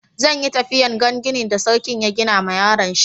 Zan yi tafiya n'gan ginin da sarkin ya gina ma yaron shi.